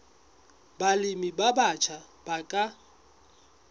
balemi ba batjha ba ka